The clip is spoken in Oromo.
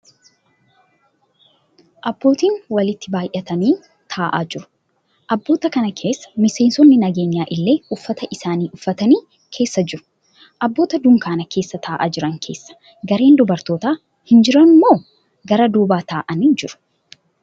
Abbootiin walitti baayyatanii ta'aa jiru. Abboota kana keessa miseensonni nageenyaa illee uffata isaanii uffatanii keessa jiru. Abboota dunkaana keessa ta'aa jiran keessaa gareen dubartootaa hin jirammoo gara duubaa ta'aa jiruu?